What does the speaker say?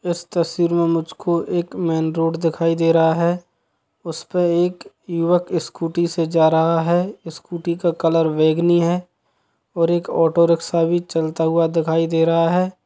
इस तस्वीर मे मुझे एक मेन रोड दिखाई दे रहा हैं उसका एक युवक स्कूटी से जा रहा हैं स्कूटी का कलर बैगनी हैं और एक ऑटो रिकसा भी चलता दिखाई दे रहा हैं।